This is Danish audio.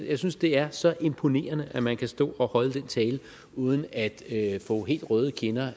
jeg synes det er så imponerende at man kan stå og holde den tale uden at få helt røde kinder